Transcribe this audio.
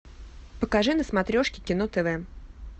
покажи на смотрешке кино тв